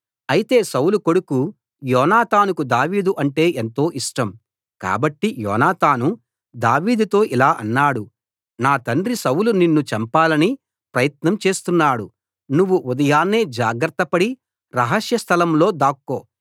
అయితే సౌలు కొడుకు యోనాతానుకు దావీదు అంటే ఎంతో ఇష్టం కాబట్టి యోనాతాను దావీదుతో ఇలా అన్నాడు నా తండ్రి సౌలు నిన్ను చంపాలని ప్రయత్నం చేస్తున్నాడు నువ్వు ఉదయాన్నే జాగ్రత్తపడి రహస్య స్థలం లో దాక్కో